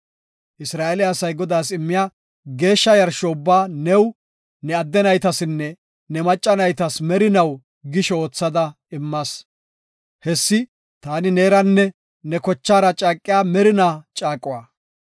Isra7eele asay Godaas immiya geeshsha yarsho ubbaa new, ne adde naytasinne ne macca naytas merinaw gisho oothada immas. Hessi taani neeranne ne kochaara caaqiya merinaa caaquwa.”